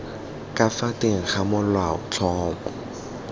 ka fa teng ga molaotlhomo